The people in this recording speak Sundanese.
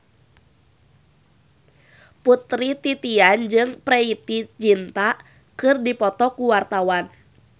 Putri Titian jeung Preity Zinta keur dipoto ku wartawan